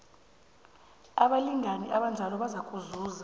abalingani abanjalo bazakuzuza